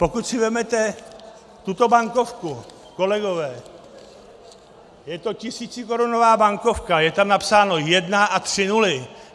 Pokud si vezmete tuto bankovku, kolegové , je to tisícikorunová bankovka, je tam napsáno jedna a tři nuly.